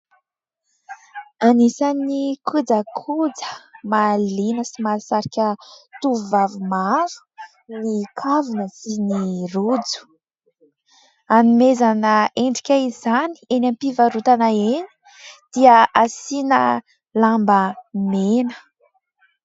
Anisan'ny kojakoja mahaliana sy mahasarika tovovavy maro ny kavina sy ny rojo. Hanomezana endrika izany eny am-pivarotana eny dia asiana lamba mena.